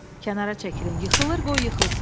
Kənara çəkilin, yıxılır qoy yıxılsın.